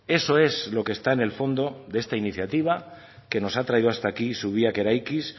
eso es lo que está en el fondo de esta iniciativa que nos ha traído hasta aquí zubiak eraikiz